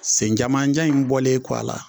Sen jamanjan in bɔlen kɔ a la